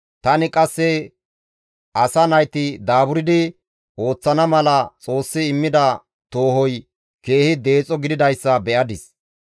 Tani qasse asaa nayti daaburdi ooththana mala Xoossi immida toohoy keehi deexo gididayssa be7adis.